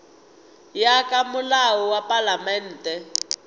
ya ka molao wa palamente